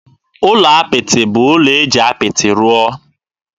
Ụlọ apịtị bụ ụlọ e ji apịtị rụọ.